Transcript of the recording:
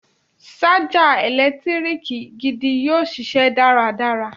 Ṣájà ẹ̀lẹ́tíríkì gidi yóò ṣiṣẹ́ dáradára.